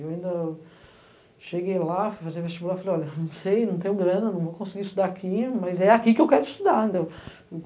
Eu ainda cheguei lá, fui fazer vestibular, falei, olha, não sei, não tenho grana, não vou conseguir estudar aqui, mas é aqui que eu quero estudar, entendeu?